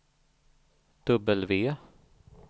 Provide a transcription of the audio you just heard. W